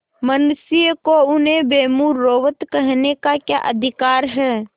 मनुष्यों को उन्हें बेमुरौवत कहने का क्या अधिकार है